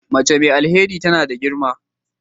Mace mai alheri tana da girma.